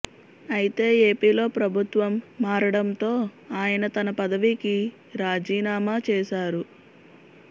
అయితే ఏపీలో ప్రభుత్వం మారడంతో ఆయన తన పదవికి రాజీనామా చేశారు